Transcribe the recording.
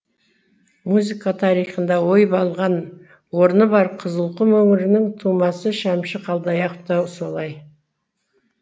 музыка тарихында ойып алған орны бар қызылқұм өңірінің тумасы шәмші қалдаяқов та солай